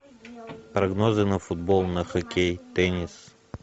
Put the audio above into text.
прогнозы на футбол на хоккей теннис